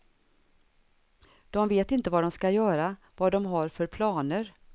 De vet inte vad de ska göra, vad de har för planer.